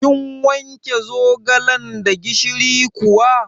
Kin wanke zogalan da gishiri kuwa?